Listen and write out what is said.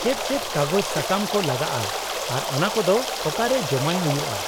-ᱪᱮᱫ ᱪᱮᱫ ᱠᱟᱜᱚᱡᱽ ᱥᱟᱠᱟᱢ ᱠᱚ ᱞᱟᱜᱟᱜᱼᱟ ᱟᱨ ᱚᱱᱟᱠᱚᱫᱚ ᱚᱠᱟᱨᱮ ᱡᱚᱢᱟᱭ ᱦᱩᱭᱩᱜᱼᱟ ?